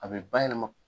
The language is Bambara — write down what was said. A bɛ bayɛlɛma